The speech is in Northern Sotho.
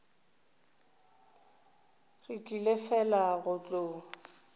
re tlile fela go tlo